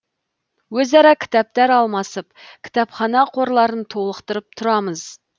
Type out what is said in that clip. өзара кітаптар алмасып кітапхана қорларын толықтырып тұрамыз